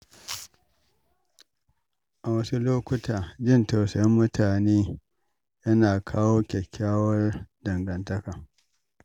A wasu lokuta, jin tausayin mutane yana kawo kyakkyawar dangantaka.